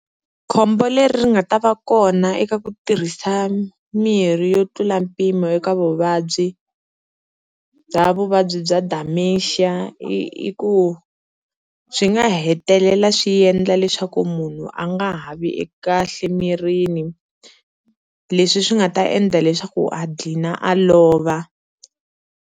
Khombo leri nga ta va kona eka ku tirhisa mirhi yo tlula mpimo eka vuvabyi bya vuvabyi bya Dementia i i ku swi nga hetelela swi endla leswaku munhu a nga ha vi kahle emirini leswi swi nga ta endla leswaku a gqina a lova.